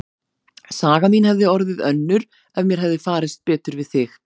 Saga mín hefði orðið önnur ef mér hefði farist betur við þig.